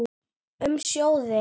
Um sjóðinn